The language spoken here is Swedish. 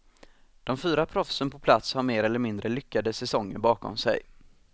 De fyra proffsen på plats har mer eller mindre lyckade säsonger bakom sig.